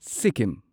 Sikkim